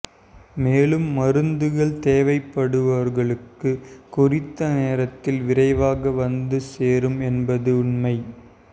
மேலும் மருந்துகள் தேவைப்படுபவர்களுக்கு குறித்த நேரத்தில் விரைவாக வந்து சேரும் என்பதும் உண்மை